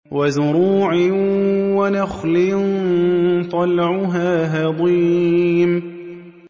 وَزُرُوعٍ وَنَخْلٍ طَلْعُهَا هَضِيمٌ